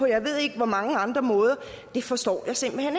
jeg ved ikke hvor mange andre måder forstår jeg simpelt hen